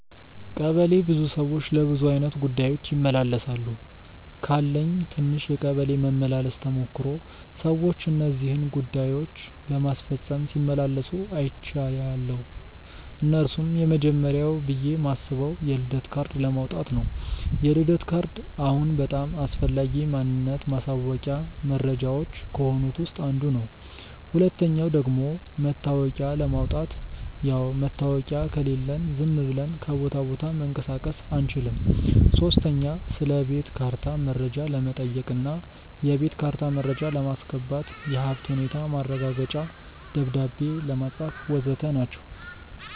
ቀበሌ ብዙ ሰዎች ለብዙ አይነት ጉዳዮች ይመላለሳሉ። ካለኝ ትንሽ የቀበሌ መመላለስ ተሞክሮ ሰዎች እነዚህን ጉዳዮች ለማስፈጸም ሲመላለሱ አይችያለው። እነርሱም፦ የመጀመርያው ብዬ ማስበው የልደት ካርድ ለማውጣት ነው፤ የልደት ካርድ አሁን በጣም አስፈላጊ ማንነት ማሳወቂያ መረጃዎች ከሆኑት ውስጥ አንዱ ነው። ሁለተኛው ደግሞ መታወቂያ ለማውጣት፣ ያው መታወቂያ ከሌለን ዝም ብለን ከቦታ ቦታ መንቀሳቀስ አንችልም። ሶስተኛ ስለቤት ካርታ መረጃ ለመጠየቅ እና የቤት ካርታ መረጃ ለማስገባት፣ የሀብት ሁኔታ ማረጋገጫ ደብዳቤ ለማጻፍ.... ወዘተ ናቸው።